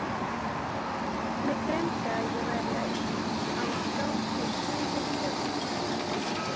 Mig dreymdi, að ég væri á gangi suður Tjarnarbakkann eystri.